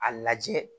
A lajɛ